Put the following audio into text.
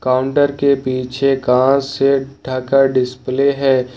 Counter के पीछे कांच से ढका डिस्प्ले है।